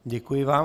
Děkuji vám.